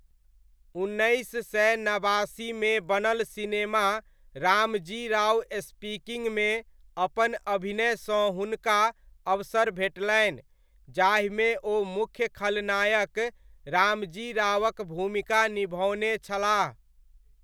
उन्नैस सय नबासीमे बनल सिनेमा रामजी राव स्पीकिङ्गमे अपन अभिनयसँ हुनका अवसर भेटलनि, जाहिमे ओ मुख्य खलनायक रामजी रावक भूमिका निभओने छलाह।